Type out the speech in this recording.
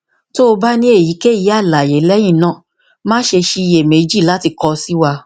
ti o ba ni eyikeyi alaye lẹhinna ma ṣe ṣiyemeji lati kọ si wa